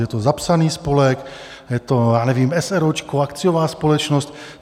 Je to zapsaný spolek, je to, já nevím, eseróčko, akciová společnost?